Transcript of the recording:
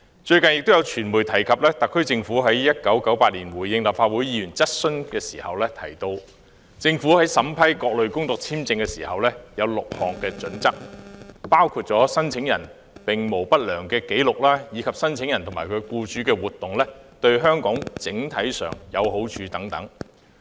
最近亦有傳媒提及特區政府於1998年回應立法會議員質詢時提到，政府在審批各類工作簽證時有6項準則，包括申請人並無不良紀錄，以及申請人及其僱主的活動對香港整體上有好處等。